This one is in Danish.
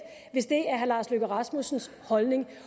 hvis det er herre lars løkke rasmussens holdning